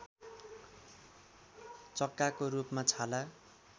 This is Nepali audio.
चक्काको रूपमा छाला